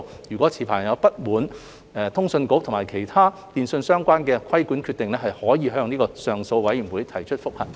若持牌人不滿通訊局其他與電訊相關的規管決定，可以向上訴委員會提出覆核。